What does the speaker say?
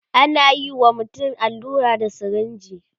anayi wa mutum allura da sirinji